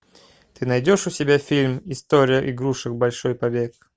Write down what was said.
ты найдешь у себя фильм история игрушек большой побег